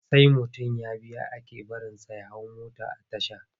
Sai mutum ya biya ake barinsa ya hau mota a tasha.